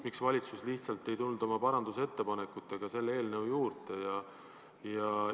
Miks valitsus ei tulnud lihtsalt oma parandusettepanekutega selle eelnõu juurde?